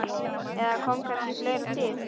Eða kom kannski fleira til?